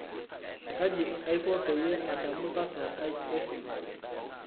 kaji aiko peyie adamu password aai e simu